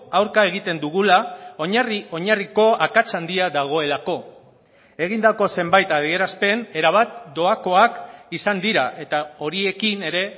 aurka egiten dugula oinarri oinarriko akats handia dagoelako egindako zenbait adierazpen erabat doakoak izan dira eta horiekin ere